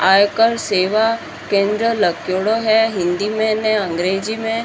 आयकर सेवा केंद्र लग्योड़ो है हिंदी में अंग्रेजी में --